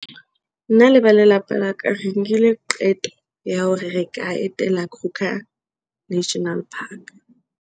Nna le ba lelapa laka re nkile qeto ya hore re ka etela Kruger National Park.